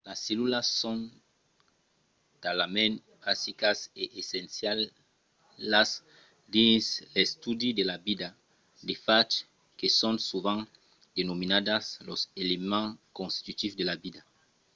las cellulas son talament basicas e essencialas dins l'estudi de la vida de fach que son sovent denominadas los elements constitutius de la vida